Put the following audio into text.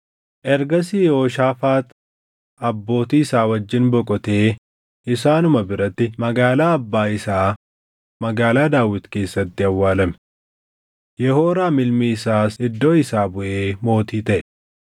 Ergasii Yehooshaafaax abbootii isaa wajjin boqotee isaanuma biratti magaalaa abbaa isaa magaalaa Daawit keessatti awwaalame. Yehooraam ilmi isaas iddoo isaa buʼee mootii taʼe.